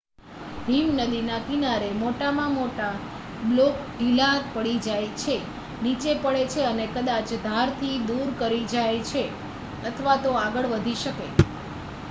હિમનદીના કિનારે મોટા મોટા બ્લોક ઢીલા પડી જાય છે નીચે પડે છે અને કદાચ ધારથી દૂર કૂદી જાય છે અથવા તો આગળ વધી શકે